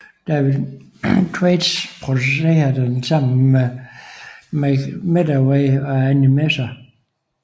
David Thwaites producerede den sammen med Mike Medavoy og Arnie Messer